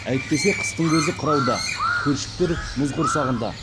әйтпесе қыстың көзі қырауда көлшіктер мұз құрсанғанда